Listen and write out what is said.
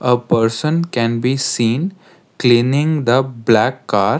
a person can be seen cleaning the black car.